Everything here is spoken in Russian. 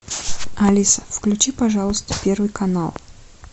алиса включи пожалуйста первый канал